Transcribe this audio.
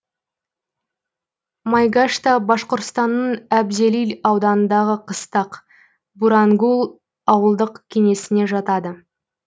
майгашта башқұртстанның әбзелил ауданындағы қыстақ бурангул ауылдық кеңесіне жатады